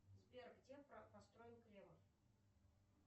сбер где построен кремль